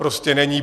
Prostě není.